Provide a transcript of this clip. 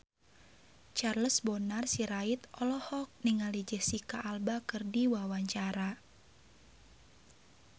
Charles Bonar Sirait olohok ningali Jesicca Alba keur diwawancara